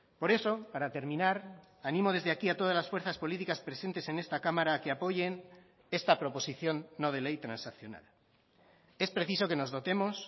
por eso para terminar animo desde aquí a todas las fuerzas políticas presentes en esta cámara que apoyen esta proposición no de ley transaccional es preciso que nos dotemos